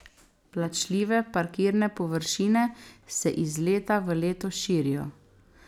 Plačljive parkirne površine se iz leta v leto širijo.